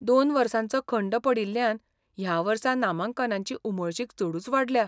दोन वर्सांचो खंड पडिल्ल्यान ह्या वर्सा नामांकनांची उमळशीक चडूच वाडल्या.